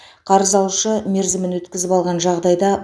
қарыз алушы мерзімін өткізіп алған жағдайда